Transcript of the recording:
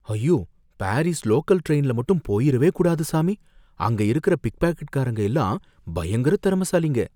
ஐயோ! Paris local டிரெயின்ல மட்டும் போயிறவே கூடாது சாமி, அங்க இருக்குற பிக் பாக்கெட்காரங்க எல்லாம் பயங்கர திறமைசாலிங்க